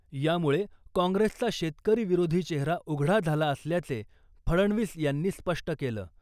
यामुळे काँग्रेसचा शेतकरी विरोधी चेहरा उघडा झाला असल्याचे फडणवीस यांनी स्पष्ट केलं .